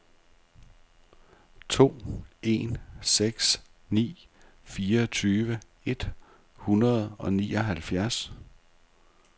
to en seks ni fireogtyve et hundrede og nioghalvfjerds